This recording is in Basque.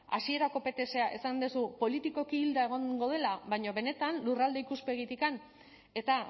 hasierako ptsa esan duzu politikoki hilda egongo dela baina benetan lurralde ikuspegitik eta